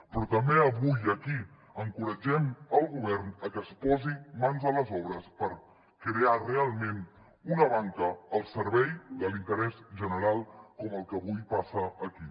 però també avui aquí encoratgem el govern a que es posi mans a les obres per crear realment una banca al servei de l’interès general com el que avui passa aquí